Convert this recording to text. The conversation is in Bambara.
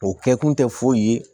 O kɛkun tɛ foyi ye